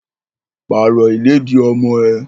Pàrọ̀ ìlẹ́dì ọmọ ẹ!